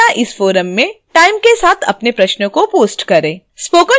कृपया इस forum में timed के साथ अपने प्रश्न को post करें